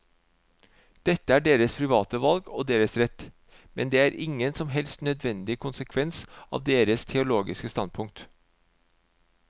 Dette er deres private valg og deres rett, men det er ingen som helst nødvendig konsekvens av deres teologiske standpunkt.